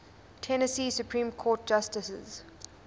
tennessee supreme court justices